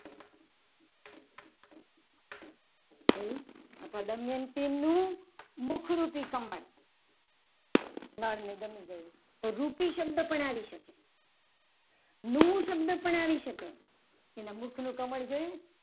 જોયું અથવા તો દમયંતી નું મુખ મુખરૂપી કમળ નર ને ગમી ગયું. તો રૂપી શબ્દ પણ આવી શકે. રૂપ શબ્દ પણ આવી શકે. તેના મુખ નું કમળ જોયું.